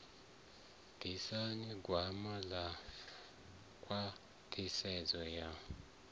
ḓisa gwama ḽa khwaṱhisedzo ya